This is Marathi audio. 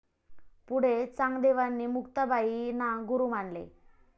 पुढे चांगदेवांनी मुक्ताबाई ना गुरु मानले